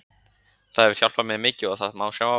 Það hefur hjálpað mér mikið og það má sjá á vellinum.